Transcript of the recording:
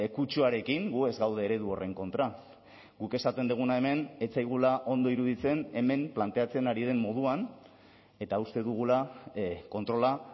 kutsuarekin gu ez gaude eredu horren kontra guk esaten duguna hemen ez zaigula ondo iruditzen hemen planteatzen ari den moduan eta uste dugula kontrola